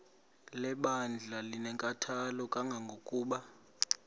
lebandla linenkathalo kangangokuba